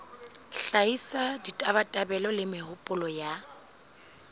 hlahisa ditabatabelo le mehopolo ya